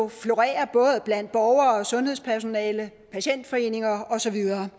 florerer både blandt borgere og sundhedspersonale patientforeninger og så videre